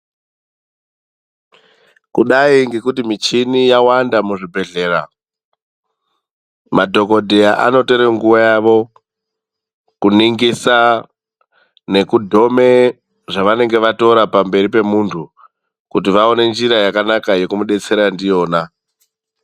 Kudai ngekuti michini yawanda muzvibhedhlera. Madhogodheya anotore nguva yavo kuningisa nekudhome zvavanenge vatora pamberi pemuntu kuti vaone njira yakanaka yekumudetsera ndiyona.